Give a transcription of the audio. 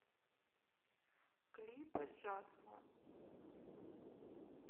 клипы джасмон